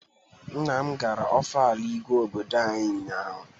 Nna m gara Ọfala Igwe obodo anyị ụnyaahụ.